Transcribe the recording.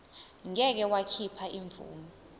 ngeke wakhipha imvume